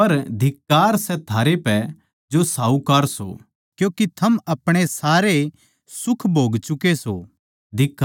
पर धिक्कार सै थारै पै जो साहूकार सो क्यूँके थमनै अपणे सारे सुख भोग चुके सों